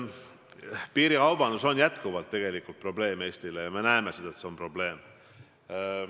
Piirikaubandus on jätkuvalt probleem Eestis, me näeme, et see on probleem.